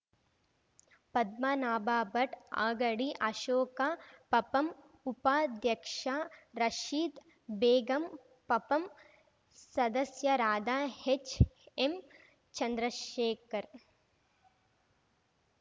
ಪದ್ಮನಾಭ ಭಟ್‌ ಆಗಡಿ ಅಶೋಕ ಪಪಂ ಉಪಾಧ್ಯಕ್ಷ ರಶೀದ್ ಬೇಗಂ ಪಪಂ ಸದಸ್ಯರಾದ ಹೆಚ್‌ಎಂಚಂದ್ರಶೇಖರ್‌